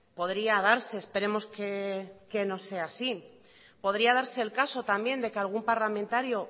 podría darse esperemos que no sea así podría darse el caso también de que algún parlamentario